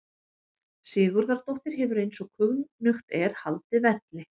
Sigurðardóttir hefur eins og kunnugt er haldið velli.